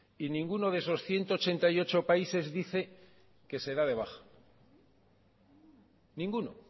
y ninguno de esos ciento ochenta y ocho países dice que se da de baja ninguno